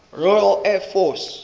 royal air force